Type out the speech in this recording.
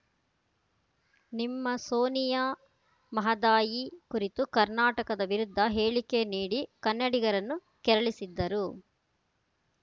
ನಿಮ್ಮ ಸೋನಿಯಾ ಮಹದಾಯಿ ಕುರಿತು ಕರ್ನಾಟಕದ ವಿರುದ್ಧ ಹೇಳಿಕೆ ನೀಡಿ ಕನ್ನಡಿಗರನ್ನು ಕೆರಳಿಸಿದ್ದರು